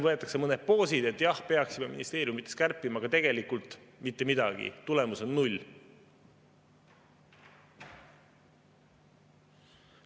Võetakse mõned poosid, et jah, peaksime ministeeriumides kärpima, aga tegelikult mitte midagi, tulemus on null.